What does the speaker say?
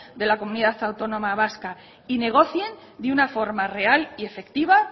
de la comunidad autónoma vasca y negocien de una forma real y efectiva